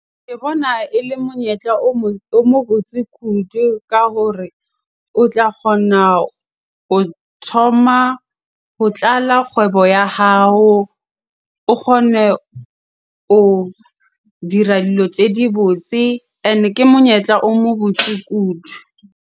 Ke bona ele monyetla o mo botse kudu ka hore o tla kgona ho thoma, ho tlala kgwebo ya hao o kgone ho dira dilo tse di botse. Ene ke monyetla o mo botse kudu.